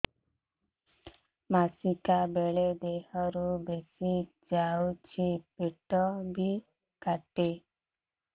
ମାସିକା ବେଳେ ଦିହରୁ ବେଶି ଯାଉଛି ପେଟ ବି କାଟେ